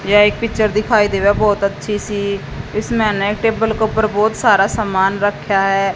यह एक पिक्चर दिखाई देवे बहोत अच्छी सी इसमें ने टेबल के ऊपर बहोत सारा समान रख्या है।